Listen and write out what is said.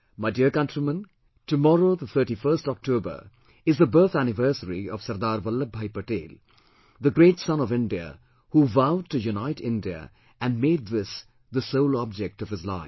My dear countrymen, tomorrow, the 31st October is the birth anniversary of Sardar Vallabhbhai Patel, the great son of India who vowed to unite India and made this the sole object of his life